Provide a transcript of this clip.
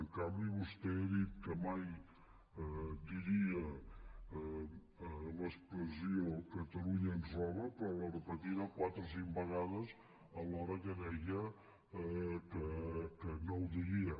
en canvi vostè ha dit que mai diria l’expressió catalunya ens roba però l’ha repetida quatre o cinc vegades alhora que deia que no ho diria